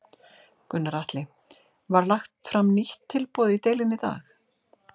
Gunnar Atli: Var lagt fram nýtt tilboð í deilunni í dag?